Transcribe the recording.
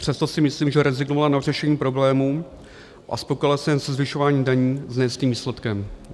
Přesto si myslím, že rezignovala na řešení problémů a spokojila se jen se zvyšováním daní s nejistým výsledkem.